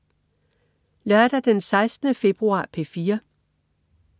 Lørdag den 16. februar - P4: